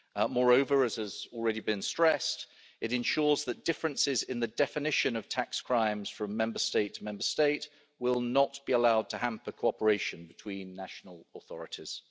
Moreover, as has already been stressed, it ensures that differences in the definition of tax crimes from Member State to Member State will not be allowed to hamper cooperation between national authorities.